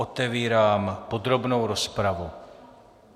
Otevírám podrobnou rozpravu.